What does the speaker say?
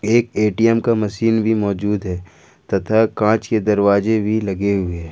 एक ए_टी_एम का मशीन भी मौजूद है तथा कांच के दरवाजे भी लगे हुए है।